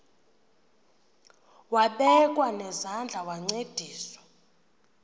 wabekwa nezandls wancedisa